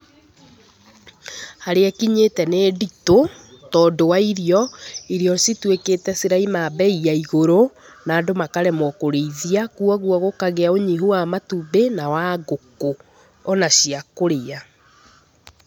Harĩa ĩkinyĩte nĩ nditũ tondũ wa irio. Irio cituĩkĩte ciraima mbei ya igũrũ na andũ makaremwo kũrĩithia, koguo gũkagĩa ũnyihu wa matumbĩ na wa ngũkũ o na cia kũrĩa.